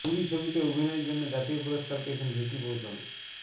উরি ছবিতে অভিনয়ের জন্য জাতীয় পুরস্কার পেয়েছেন ভিকি কৌশল